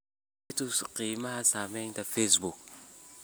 i tus qiimaha saamiyada facebook